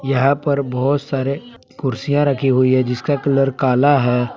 यहां पर बहोत सारे कुर्सियां रखी हुई है जिसका कलर काला है।